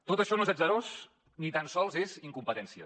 tot això no és atzarós ni tan sols és incompetència